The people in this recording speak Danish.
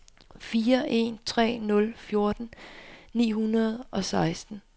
fire en tre nul fjorten ni hundrede og seksten